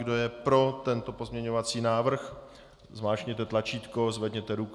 Kdo je pro tento pozměňovací návrh, zmáčkněte tlačítko, zvedněte ruku.